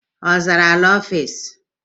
Ọ zara ala ofisi?